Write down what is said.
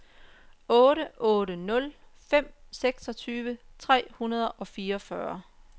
otte otte nul fem seksogtyve tre hundrede og fireogfyrre